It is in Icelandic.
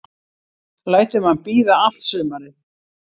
Lætur mann bíða allt sumarið.